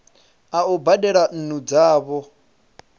a u badela nnu dzavho